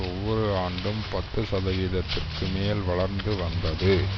ஒவ்வொரு ஆண்டும் பத்து சதவீதத்திற்கு மேல் வளர்ந்து வந்தது